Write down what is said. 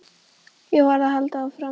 Ég varð að halda áfram.